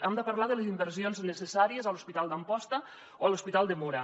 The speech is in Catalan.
hem de parlar de les in·versions necessàries a l’hospital d’amposta o a l’hospital de móra